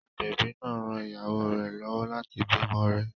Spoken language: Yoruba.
Agbẹ̀bí náà ran ìyàwó rẹ lọ́wọ́ láti bímọ rẹ̀.